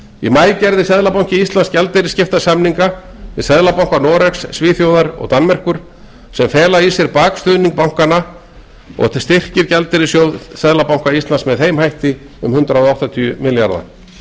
í maí gerði seðlabanki íslands gjaldeyrisskiptasamninga við seðlabanka noregs svíþjóðar og danmerkur sem fela í sér bakstuðning bankanna þriggja og styrkir gjaldeyrissjóð seðlabanka íslands með þeim hætti um hundrað áttatíu milljarða